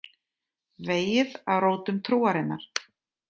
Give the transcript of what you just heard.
Vegið að rótum trúarinnar